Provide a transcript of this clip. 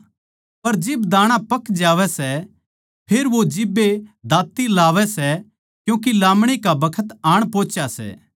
पर जिब दाणा पक जावै सै फेर वो जिब्बे दांती लावै सै क्यूँके लामणी का बखत आण पोहचा सै